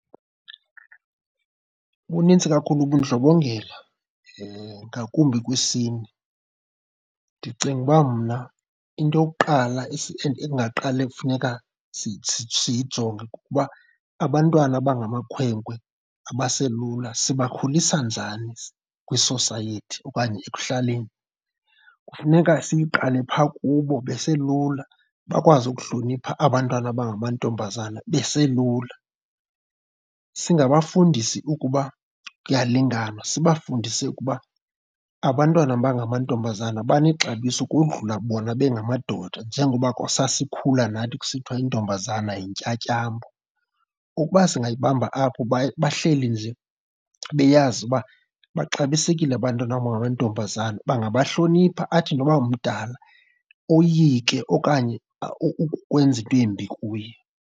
Bunintsi kakhulu ubundlobongela, ngakumbi kwisini. Ndicinga uba mna into yokuqala endingaqale kufuneka siyijonge kukuba abantwana abangamakhwenkwe abaselula sibakhulisa njani kwisosayethi okanye ekuhlaleni. Kufuneka siyiqale phaa kubo beselula, bakwazi ukuhlonipha abantwana abangamantombazana beselula. Singabafundisi ukuba kuyalinganwa, sibafundise ukuba abantwana abangamantombazana banexebiso ukodlula bona bengamadoda njengoba sasikhula nathi kusithiwa intombazana yintyatyambo. Ukuba singayibamba apho, bahleli nje beyazi uba baxabisekile abantwana abangamantombazana, bangabahlonipha athi noba mdala oyike okanye ukwenza into embi kuye.